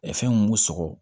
fɛn mun b'u sɔgɔ